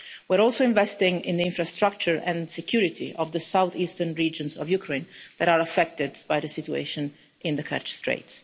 law. We are also investing in the infrastructure and security of the south eastern regions of Ukraine that are affected by the situation in the Kerch Strait.